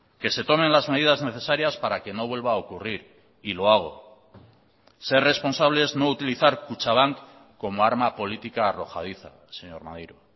que se tomen las medidas necesarias para que no vuelva a ocurrir y lo hago ser responsable es no utilizar kutxabank como arma política arrojadiza señor maneiro